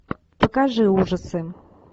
покажи ужасы